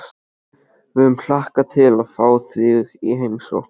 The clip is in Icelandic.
Við höfum hlakkað svo til að fá þig í heimsókn